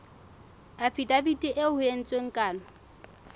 afidaviti eo ho entsweng kano